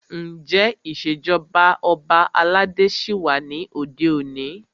Ǹjẹ́ ìṣèjọba ọba aládé ṣí wà ní òde òní?